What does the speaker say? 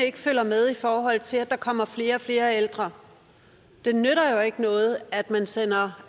ikke følger med i forhold til at der kommer flere og flere ældre det nytter jo ikke noget at man sender